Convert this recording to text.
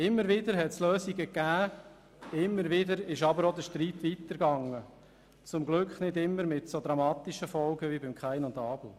Immer wieder gab es Lösungen, immer wieder aber ging der Streit weiter, zum Glück nicht immer mit so dramatischen Folgen wie bei Kain und Abel.